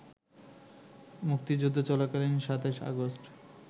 মুক্তিযুদ্ধ চলাকালীন ২৭ আগস্ট